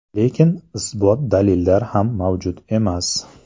Lekin isbot-dalillar ham mavjud emas.